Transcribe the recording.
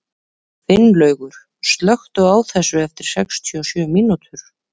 Finnlaugur, slökktu á þessu eftir sextíu og sjö mínútur.